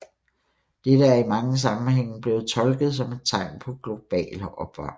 Dette er i mange sammenhænge blevet tolket som et tegn på global opvarmning